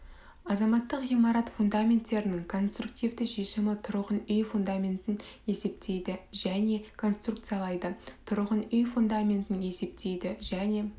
азаматтық ғимарат фундаменттерінң конструктивті шешімі тұрғын үй фундаментін есептейді және конструкциялайды тұрғын үй фундаментін есептейді және